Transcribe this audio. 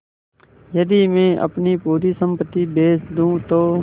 यदि मैं अपनी पूरी सम्पति बेच दूँ तो